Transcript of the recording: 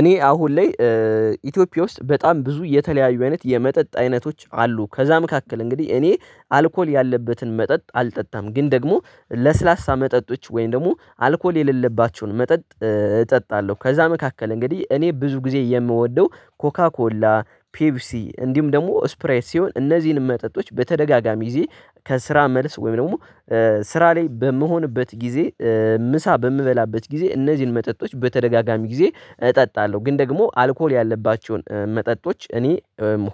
እኔ አሁን ላይ ኢትዮጵያ ውስጥ በጣም ብዙ የተለያዩ አይነት የመጠጥ አይነቶች አሉ። ከዛ መካከል እንግዲህ እኔ አልኮል ያለበትን መጠጥ አልጠጣም ግን ደግሞ ለስላሳ መጠጦች ወይም ደግሞ አልኮል የሌለባቸውን መጠጥ እጠጣለሁ። ከዛ መካከል እንግዲህ እኔ ብዙ ጊዜ የምወደው ኮካ ኮላ ፔፕሲ እንዲሁም ደግሞ ስፕራይት ሲሆን እነዚህን መጠጦች በተደጋጋሚ ጊዜ ከስራ መልስ ወይም ደግሞ ስራ ላይ በምሆንበት ጊዜ ምሳ በምበላበት ጊዜ እነዚህን መጠጦች በተደጋጋሚ ጊዜ እጠጣለሁ። ግን ደግሞ አልኮል ያለባቸውን መጠጦች እኔ